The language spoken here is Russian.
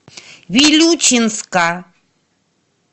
вилючинска